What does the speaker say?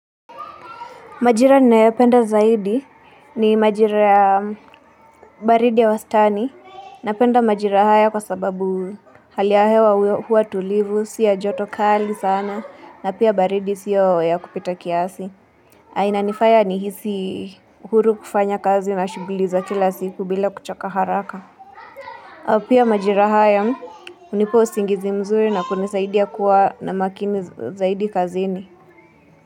Majira ninayopenda zaidi ni majira baridi ya wastani napenda majira haya kwa sababu halia hewa huwa tulivu, si ya joto kali sana na pia baridi siyo ya kupita kiasi. Na inanifanya ni hisi huru kufanya kazi na shughuli za kila siku bila kuchoka haraka. Pia majira haya hunipa usingizi mzuri na kunisaidia kuwa na makini zaidi kazini.